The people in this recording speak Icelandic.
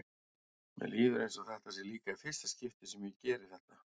Mér líður eins og þetta sé líka í fyrsta skipti sem ég geri þetta.